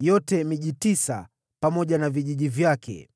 yote ni miji tisa pamoja na vijiji vyake.